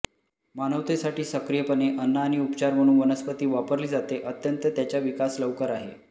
मानवतेसाठी सक्रियपणे अन्न आणि उपचार म्हणून वनस्पती वापरली जाते अत्यंत त्याच्या विकास लवकर आहे